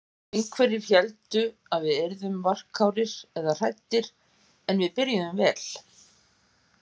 Einhverjir héldu að við yrðum varkárir eða hræddir en við byrjuðum vel.